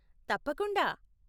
తప్పకుండా !